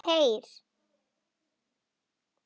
Heyr!